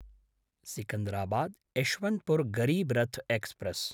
Secunderabad Yeshwantpur Garib Rath express